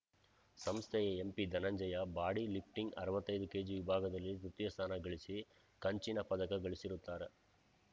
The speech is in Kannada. ಸಂಸ್ಥೆಯ ಎಂಪಿಧನಂಜಯ ಬಾಡಿ ಲಿಫ್ಟಿಂಗ್‌ ಅರವತ್ತೈದು ಕೆಜಿ ವಿಭಾಗದಲ್ಲಿ ತೃತೀಯ ಸ್ಥಾನ ಗಳಿಸಿ ಕಂಚಿನ ಪದಕ ಗಳಿಸಿರುತ್ತಾರೆ